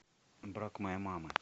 брак моей мамы